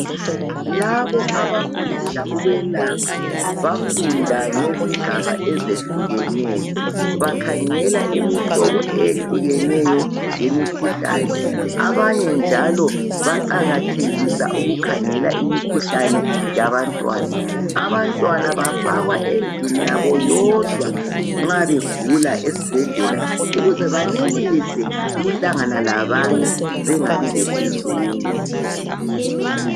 Labo abafundela ukwelapha, bafunda ngezigaba ezehlukeneyo. Bakhangela imihlobo eyehlukeneyo yemikhuhlane. Abanye njalo baqakathekisa ukukhangelamimikhuhlane yabantwana. Abantwana bafakwa endlini yabo yodwa nxa begula esibhedlela. Ukuze banelise ukuhlangana labanye. Bengabi lesizungu.